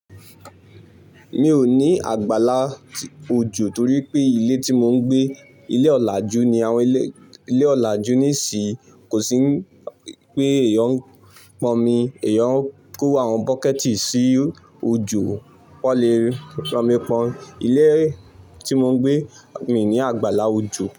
Mi ò ní àgbálá òjò torí pé ilé tí mò ń gbé, ilé ọ̀làjú ni. Àwọn ilé ọ̀làjú nísìí kò sí pé èèyàn ń pọnmi, èèyàn ń kó àwọn bọ́kẹ̀tì sí ojò kó lè rọmi pọn. Ilé tí mò ń gbé, mi ní àgbálá òjò.